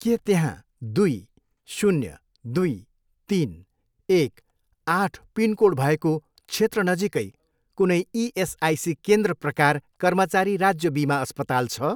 के त्यहाँ दुई, शून्य, दुई, तिन, एक, आठ पिनकोड भएको क्षेत्र नजिकै कुनै इएसआइसी केन्द्र प्रकार कर्मचारी राज्य बिमा अस्पताल छ?